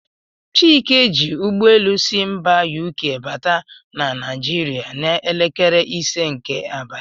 Chike ji ụgbọelu si mba UK bata na Naijiria n'elekere ise nke abalị.